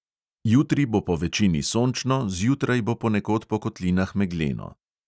Jutri bo povečini sončno, zjutraj bo ponekod po kotlinah megleno.